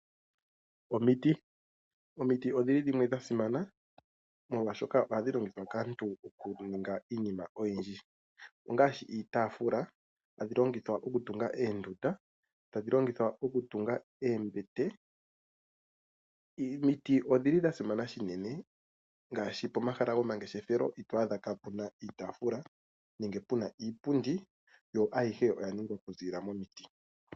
Omiti odhi li dhimwe dha simana molwashoka ohadhi longithwa kaantu okuninga iinima oyindji, ongaashi iitafula. Ohadhi longithwa okutunga oondunda, hadhi longithwa okutunga oombet. Omiti odhili dha simana shinene ngaashi pomahala gomangeshefelo ito adha kapuna iitafula nenge puna iipundi, yo ayihe oya ningwa okuzilila momiti.